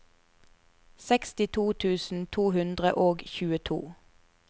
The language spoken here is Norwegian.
sekstito tusen to hundre og tjueto